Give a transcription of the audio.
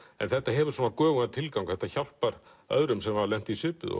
en þetta hefur göfugan tilgang hjálpar öðrum sem hafa lent í svipuðu